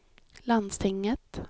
landstinget